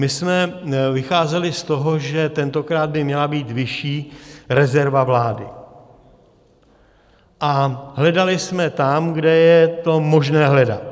My jsme vycházeli z toho, že tentokrát by měla být vyšší rezerva vlády, a hledali jsme tam, kde je to možné hledat.